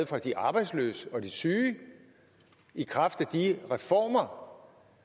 fra de arbejdsløse og de syge i kraft af de reformer